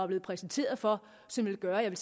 blevet præsenteret for som ville gøre at